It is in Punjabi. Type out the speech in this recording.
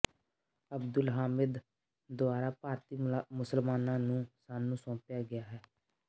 ਅਬਦੁਲ ਹਾਮਿਦ ਦੁਆਰਾ ਭਾਰਤੀ ਮੁਸਲਮਾਨਾਂ ਨੂੰ ਸਾਨੂੰ ਸੌਂਪਿਆ ਗਿਆ ਹੈ